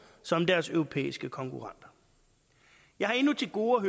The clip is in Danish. som deres europæiske konkurrenter jeg har endnu til gode